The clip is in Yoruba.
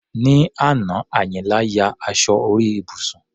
Ní àná, Àyìnlá ya aṣọ orí ibùsùn.